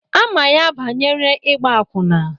Ama ya banyere igba akwụna.